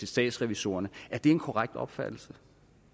statsrevisorerne er det en korrekt opfattelse